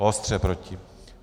Ostře proti.